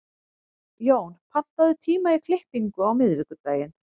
Jón, pantaðu tíma í klippingu á miðvikudaginn.